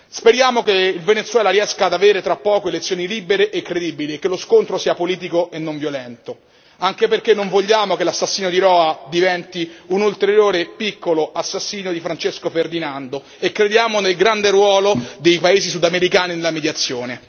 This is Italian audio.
Speriamo che il Venezuela riesca ad avere tra poco elezioni libere e credibili e che lo scontro sia politico e non violento, anche perché non vogliamo che l'assassino di Roa diventi un ulteriore, piccolo assassino di Francesco Ferdinando e crediamo nel grande ruolo dei paesi sudamericani nella mediazione.